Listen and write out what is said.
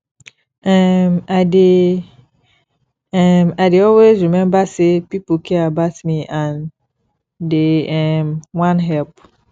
um i dey um i dey always rememba sey pipo care about me and dey um wan help